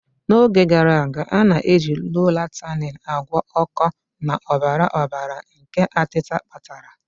N'oge gara aga, a na-eji Loratadine agwọ oko na ọbara ọbara nke atita kpatara.